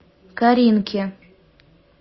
каринке